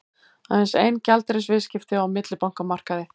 Aðeins ein gjaldeyrisviðskipti á millibankamarkaði